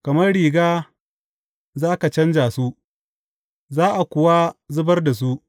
Kamar riga za ka canja su za a kuwa zubar da su.